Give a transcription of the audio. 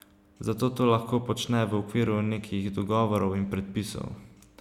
Zato to lahko počne v okviru nekih dogovorov in predpisov.